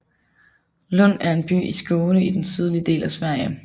Lund er en by i Skåne i den sydlige del af Sverige